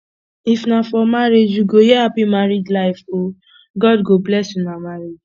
if na for marriage you go hear hapi married life o god go bless una marriage